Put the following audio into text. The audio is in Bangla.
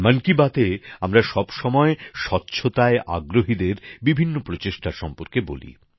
মন কি বাতএ আমরা সবসময় স্বচ্ছতায় আগ্রহীদের বিভিন্ন প্রচেষ্টা সম্পর্কে বলি